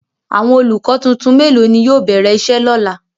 Awọn olukọ tuntun melo ni yóò bẹrẹ iṣe lọla?